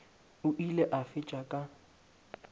o ile a fetša ka